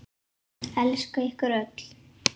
Elska ykkur öll.